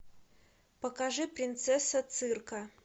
покажи принцесса цирка